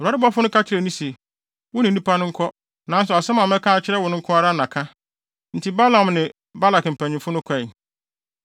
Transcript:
Awurade bɔfo no ka kyerɛɛ no se, “Wo ne nnipa no nkɔ, nanso asɛm a mɛka akyerɛ wo no nko ara na ka.” Enti Balaam ne Balak mpanyimfo no kɔe.